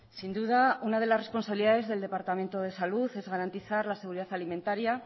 sin duda una de las responsabilidades del departamento de salud es garantizar la seguridad alimentaria